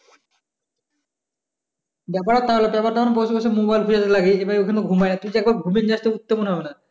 ব্যাপার টা হলো তুই বসে বসে mobile তুই ঘুমায় উঠতে মনে হবে না